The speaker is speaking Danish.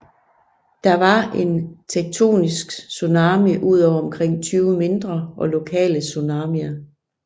Der var en tektonisk tsunami udover omkring 20 mindre og lokale tsunamier